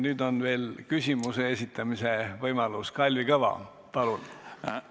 Nüüd on küsimuse esitamise võimalus Kalvi Kõval, palun!